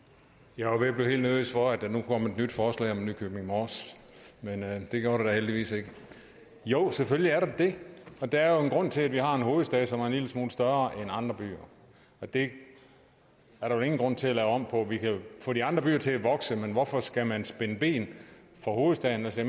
jeg var ved at blive helt nervøs for at der nu kom et nyt forslag om nykøbing mors men det gjorde der heldigvis ikke jo selvfølgelig er det det der er jo en grund til at vi har en hovedstad som er en lille smule større end andre byer det er der ingen grund til at lave om på vi kan få de andre byer til at vokse men hvorfor skal man spænde ben for hovedstaden altså